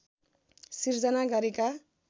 सृजना गरेका